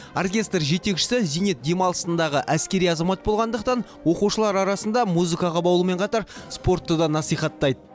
оркестр жетекшісі зейнет демалысындағы әскери азамат болғандықтан оқушылар арасында музыкаға баулумен қатар спортты да насихаттайды